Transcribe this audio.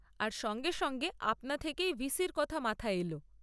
আর সঙ্গে সঙ্গে আপনা থেকেই ভিসির কথা মাথায় এল।